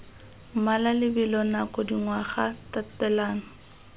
mmala lebelo nako dingwaga tatelano